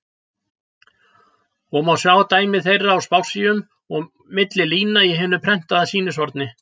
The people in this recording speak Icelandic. og má sjá dæmi þeirra á spássíum og milli lína í hinu prentaða sýnishorni.